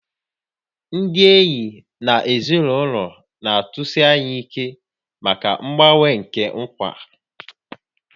Ndị enyi na ezinụlọ na-atụsi anya ike maka mgbanwe nke nkwa